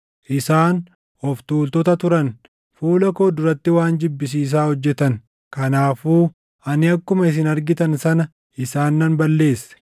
Isaan of tuultota turan; fuula koo duratti waan jibbisiisaa hojjetan. Kanaafuu ani akkuma isin argitan sana isaan nan balleesse.